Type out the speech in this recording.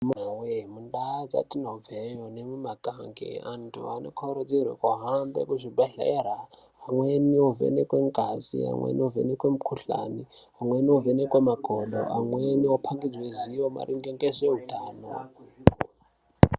Amunaa woye mundau dzetinobva yo nemumakange antu anokurudzirwa ahambe kuzvibhendlera. Amweni ovhenekwa ngazi. Amweni anovhenekwa mukhuhlani. Amweni anovhenekwa makodo. Amweni okhombidzwa ziwo maringe ngezveutano.